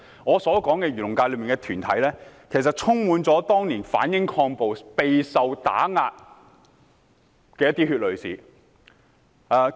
我所說的漁農界團體，其實充滿了當年反英抗暴和備受打壓的血淚史。